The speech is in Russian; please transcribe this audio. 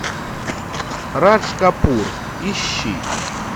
радж капур ищи